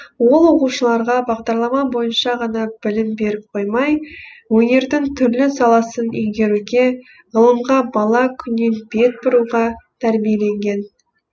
ол оқушыларға бағдарлама бойынша ғана білім беріп қоймай өнердің түрлі саласын игеруге ғылымға бала күннен бет бұруға тәрбиелеген